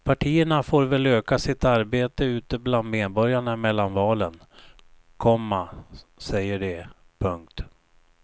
Partierna får väl öka sitt arbete ute bland medborgarna mellan valen, komma säger de. punkt